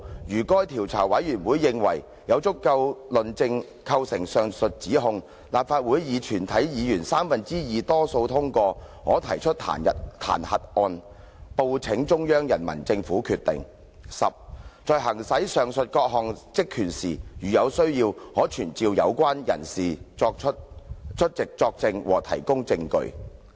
如該調查委員會認為有足夠證據構成上述指控，立法會以全體議員三分之二多數通過，可提出彈劾案，報請中央人民政府決定；十在行使上述各項職權時，如有需要，可傳召有關人士出席作證和提供證據。